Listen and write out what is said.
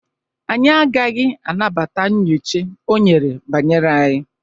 anyị agaghị anabata nyocha o nyere banyere anyị